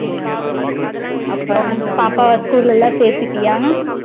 அப்பறம் பாப்பாவ school ல சேத்துட்டயா